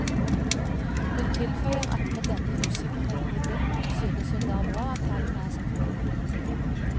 Hun tilføyer at med denne usikkerheten i bunn synes hun det er bra at tallene er som forventet.